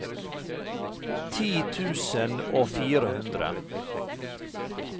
ti tusen og fire hundre